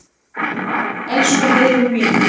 Elsku Heiðrún mín.